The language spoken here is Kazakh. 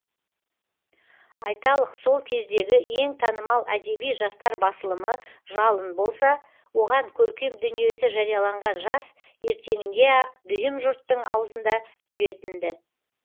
айталық сол кездегі ең танымал әдеби жастар басылымы жалын болса оған көркем дүниесі жарияланған жас ертеңіне ақ дүйім жұрттың аузында жүретін ді